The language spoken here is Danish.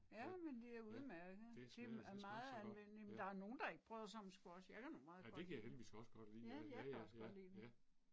Ja, ja. Det smager skisme også så godt, ja. Ja det kan jeg heldigvis også godt lide ja, ja ja, ja